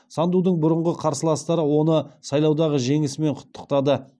сандудың бұрынғы қарсыластары оны сайлаудағы жеңісімен құттықтады